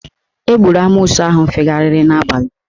Egburu amoosu ahụ fegharịrị n'abalị